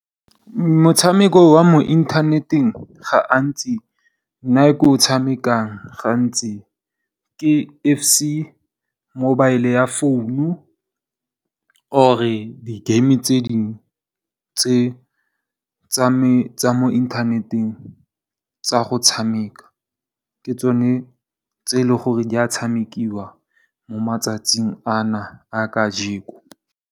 Motshameko wa mo inthaneteng, nna ke o tshamekang ga ntsi ke FC mobile ya founu u or di game tse dingwe tse tsa mo inthaneteng tsa go tshameka. Ke tsone tse e leng gore di a tshamekiwa mo matsatsing a na a ka jeko.